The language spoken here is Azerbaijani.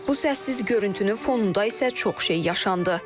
Bu səssiz görüntünün fonunda isə çox şey yaşandı.